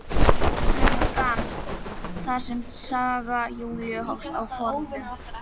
Gluggann þar sem saga Júlíu hófst forðum.